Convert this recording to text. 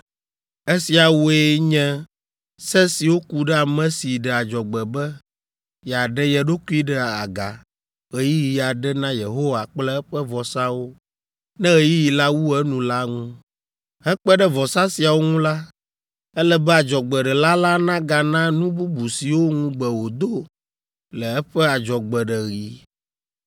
“ ‘Esiawoe nye se siwo ku ɖe ame si ɖe adzɔgbe be yeaɖe ye ɖokui ɖe aga ɣeyiɣi aɖe na Yehowa kple eƒe vɔsawo ne ɣeyiɣi la wu enu la ŋu. Hekpe ɖe vɔsa siawo ŋu la, ele be adzɔgbeɖela la nagana nu bubu siwo ŋugbe wòdo le eƒe adzɔgbeɖeɣi.’ ”